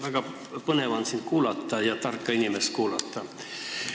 Väga põnev on sind, tarka inimest, kuulata.